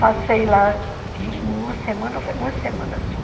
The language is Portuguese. Passei lá uma semana uma semana só.